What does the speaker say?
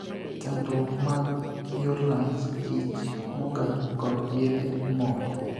Chandruok mag yor lach, ich mogar, kod yedhe moko